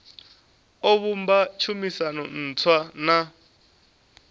o vhumba tshumisano ntswa na